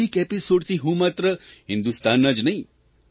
આ એક એપીસોડથી હું માત્ર હિન્દુસ્તાનના જ નહીં